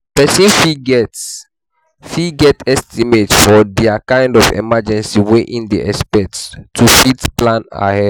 Person fit get fit get estimate for di kind of emergency wey im dey expect to fit plan ahead